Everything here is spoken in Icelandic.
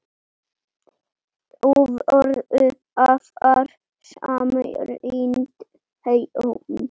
Þau voru afar samrýnd hjón.